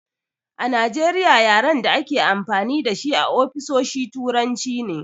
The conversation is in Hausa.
A Najeriya yaren a dake amfani dashi a ofisoshi turanci ne